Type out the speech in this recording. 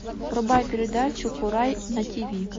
врубай передачу курай на тиви